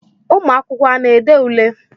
ụmụ akwụkwọ a na-ede ule?